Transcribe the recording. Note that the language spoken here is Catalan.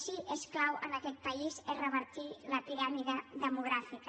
sí que és clau en aquest país és revertir la piràmide demogràfica